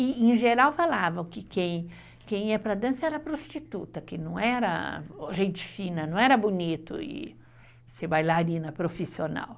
E, em geral, falavam que quem ia para a dança era prostituta, que não era gente fina, não era bonito, e ser bailarina profissional.